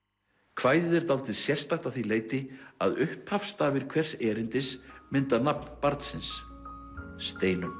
kvæðið er dálítið sérstakt að því leyti að upphafsstafir hvers erindis mynda nafn barnsins Steinunn